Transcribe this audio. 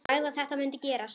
Sagði að þetta mundi gerast.